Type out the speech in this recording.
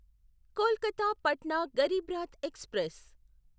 Kolkata Patna Garib Rath express